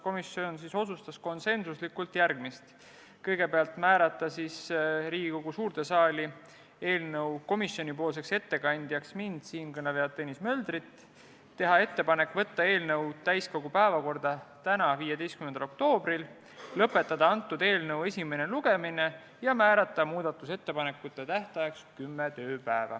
Komisjon otsustas konsensuslikult järgmist: kõigepealt määrata Riigikogu suures saalis eelnõu ettekandjaks siinkõneleja Tõnis Mölder ning teha ettepanekud saata eelnõu täiskogu päevakorda tänaseks, 15. oktoobriks, lõpetada eelnõu esimene lugemine ja määrata muudatusettepanekute esitamise tähtajaks 10 tööpäeva.